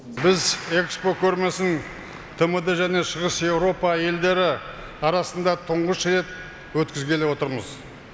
біз экспо көрмесін тмд және шығыс еуропа елдері арасында тұңғыш рет өткізгелі отырмыз